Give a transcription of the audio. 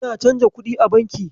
Ana canja kuɗi a banki.